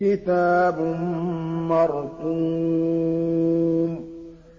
كِتَابٌ مَّرْقُومٌ